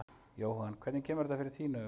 Jóhann: Hvernig kemur þetta fyrir þín augu?